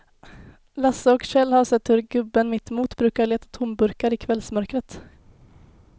Lasse och Kjell har sett hur gubben mittemot brukar leta tomburkar i kvällsmörkret.